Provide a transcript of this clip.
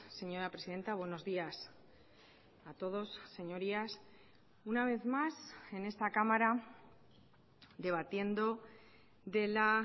señora presidenta buenos días a todos señorías una vez más en esta cámara debatiendo de la